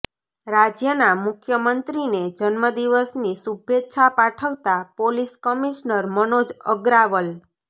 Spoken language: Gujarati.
રાજયના મુખ્યમંત્રીને જન્મદિવસની શુભેચ્છા પાઠવતા પોલીસ કમિશનર મનોજ અગ્રાવલ